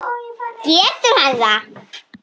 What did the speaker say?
Getur hann það?